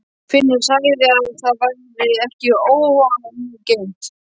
Finnur sagði að það væri ekki óalgengt.